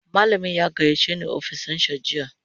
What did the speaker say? Malamin ya gayyace ni ofishinsa jiya